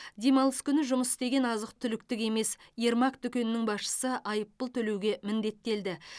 демалыс күні жұмыс істеген азық түліктік емес ермак дүкенінің басшысы айыппұл төлеуге міндеттелді